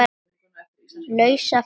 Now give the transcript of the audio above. lausa ferli.